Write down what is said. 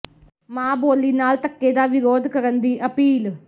ਮਾਂ ਬੋਲੀ ਨਾਲ ਧੱਕੇ ਦਾ ਵਿਰੋਧ ਕਰਨ ਦੀ ਅਪੀਲ